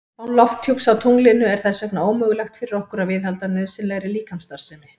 Án lofthjúps á tunglinu er þess vegna ómögulegt fyrir okkur að viðhalda nauðsynlegri líkamsstarfsemi.